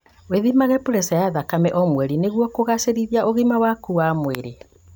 Wĩthimage preca ya thakame o mweri nĩguo kũgacĩrithia ũgima waku wa mwĩrĩ